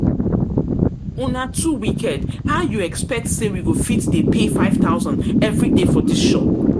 Una too wicked, how you expect say we go fit dey pay five thousand every day for dis shop?